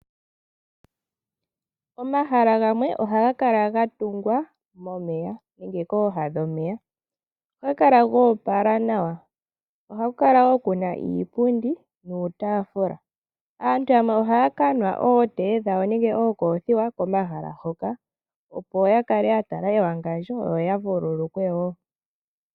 Omahala gamwe ohaga kala gatungwa momeya, nenge kooha dhomeya. Ohaga kala goopala nawa, ohaku kala woo kuna iipundi niitafula. Aantu yamwe ohaya kanwa ookofiwa dhawo komahala hoka opo yakale yatala ewangandjo yo yavululukwe woo.